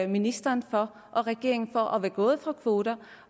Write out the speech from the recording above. ministeren og regeringen for at være gået fra kvoter